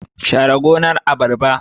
Share gonar abarba